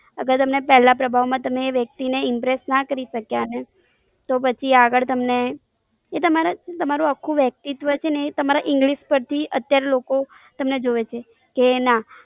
અથવા તમે પેલા પ્રભાવ માં તમે એ વ્યક્તિને Impress ના કરી શક્યા ને તો પછી આગળ તમને, એતમારા તમારું આખું વ્યક્તિત્વ છેને તમારા English પરથી અત્યારે લોકો તમને જોવે છે, કે ના